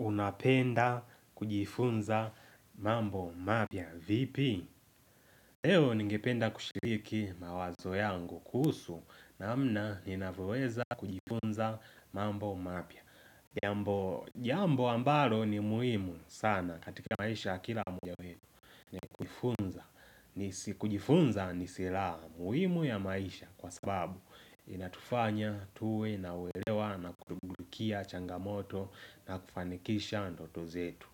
Unapenda kujifunza mambo mapya. Vipi? Leo ningependa kushiriki mawazo yangu kuhusu namna ninavyoweza kujifunza mambo mapya Jambo ambalo ni muhimu sana katika maisha kila mmoja wetu. Kujifunza ni silaha muhimu ya maisha kwa sababu. Inatufanya tuwe na uelewa na kutubukia changamoto na kufanikisha ndoto zetu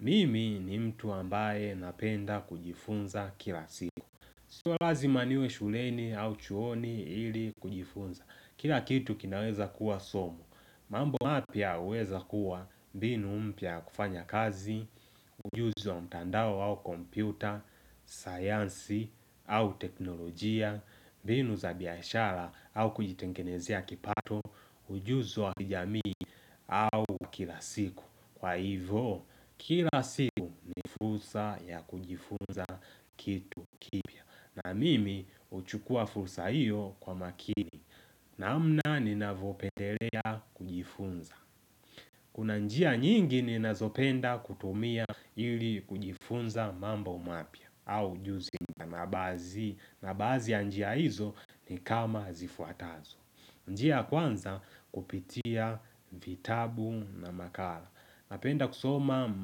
Mimi ni mtu ambaye napenda kujifunza kila siku Sio lazima niwe shuleni au chuoni ili kujifunza Kila kitu kinaweza kuwa somo mambo mapya huweza kuwa mbinu mpya ya kufanya kazi Ujuzi wa mtandao au kompyuta, sayansi au teknolojia mbinu za biashara au kujitengenezea kipato ujuzi wa kijamii au kila siku Kwa hivo kila siku ni fursa ya kujifunza kitu kipya na mimi huchukua fursa hiyo kwa makini namna ninavyopendelea kujifunza Kuna njia nyingi ninazopenda kutumia ili kujifunza mambo mapya au ujuzi na baadhi ya njia hizo ni kama zifuatazo njia ya kwanza kupitia vitabu na makala napenda kusoma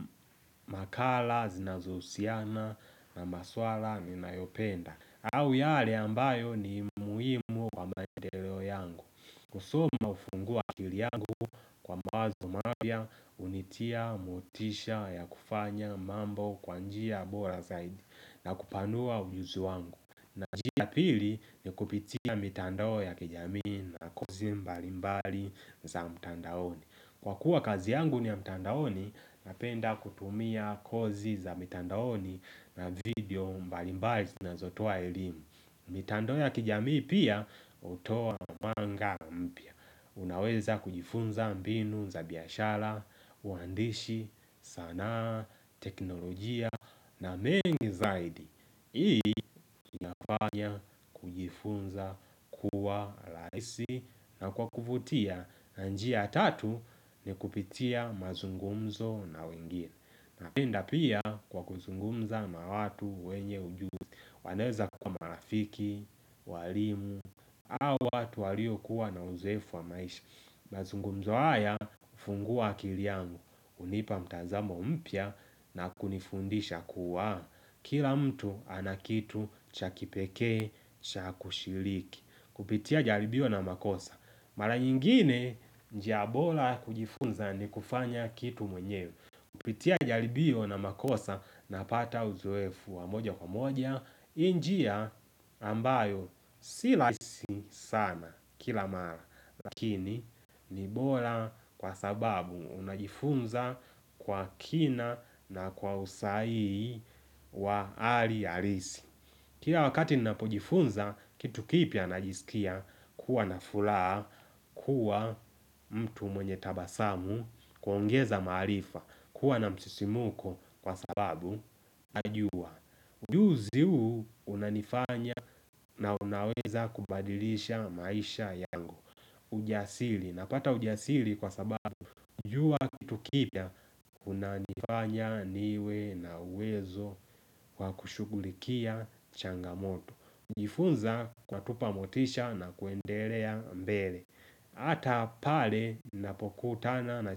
makala zinazohusiana na maswala ninayopenda au yale ambayo ni muhimu kwa mandeleo yangu kusoma hufungua akili yangu kwa mawazo mapya hunitia motisha ya kufanya mambo kwa njia bora zaidi na kupanua ujuzi wangu na njia pili ni kupitia mitandao ya kijamii na kozi mbalimbali za mtandaoni Kwa kuwa kazi yangu ni ya mtandaoni Napenda kutumia kozi za mitandaoni na video mbalimbali zinazotoa elimu mitandao ya kijami pia hutoa mwanga mpya Unaweza kujifunza mbinu za biashara, uandishi, sanaa, teknolojia na mengi zaidi Hii inafanya kujifunza kuwa rahisi na kwa kuvutia na njia ya tatu ni kupitia mazungumzo na wengine. Napenda pia kwa kuzungumza na watu wenye ujuzi. Wanaweza kwa marafiki, walimu, au watu walio kuwa na uzoefu wa maisha. Mazungumzo haya hufungua akili yangu. Hunipa mtazamo mpya na kunifundisha kuwa. Kila mtu ana kitu cha kipekee, cha kushiriki Kupitia jaribio na makosa Mara nyingine njia bora kujifunza ni kufanya kitu mwenyewe Kupitia jaribio na makosa na pata uzoefu wa moja kwa moja hii njiia ambayo si rahisi sana kila mara Lakini ni bora kwa sababu unajifunza kwa kina na kwa usahihi wa hali halisi Kila wakati ninapojifunza Kitu kipya najisikia kuwa na furaha kuwa mtu mwenye tabasamu kuongeza maarifa kuwa na msisimko Kwa sababu najua Ujuzi huu unanifanya na unaweza kubadilisha maisha yangu ujasili napata ujasili Kwa sababu kujua kitu kipya kunanifanya niwe na uwezo wa kushughulikia changamoto Njifunza kwa tupa motisha na kuendelea mbele Hata pale napokutana na.